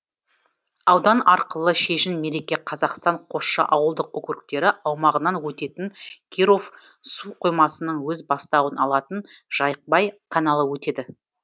аудан арқылы шежін мереке қазақстан қосшы ауылдық округтері аумағынан өтетін киров су қоймасынан өз бастауын алатын жайықбай каналы өтеді